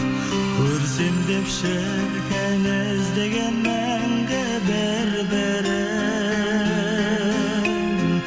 көрсем деп шіркін іздеген мәңгі бір бірін